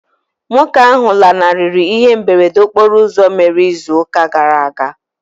Nwoke ahụ lanarịrị ihe mberede okporo ụzọ mere ịzụ ụka gara aga.